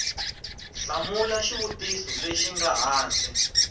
hlamula xivutiso lexi nga hansi